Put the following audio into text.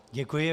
Děkuji.